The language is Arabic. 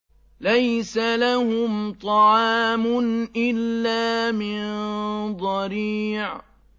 لَّيْسَ لَهُمْ طَعَامٌ إِلَّا مِن ضَرِيعٍ